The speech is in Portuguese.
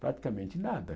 Praticamente nada.